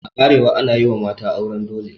A arewa ana yi wa mata auren dole.